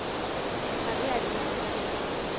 mekgatlo e adimanang ka tjhelete